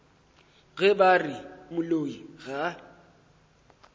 ge ba re moloi ga